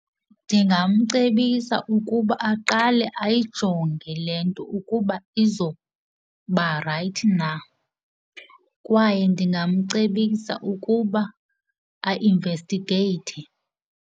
Ndingamcebisa ukuba aqale ayijonge le nto ukuba izoba rayithi na kwaye ndingamcebisa ukuba ainvestigeyithe.